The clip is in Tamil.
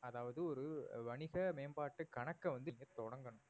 அதாவது ஒரு வணிக மேம்பாட்டு கணக்க வந்து நீங்க தொடங்கணும்